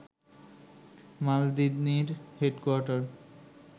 মালদিনির headquarter